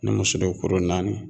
Ni muso do kuru naani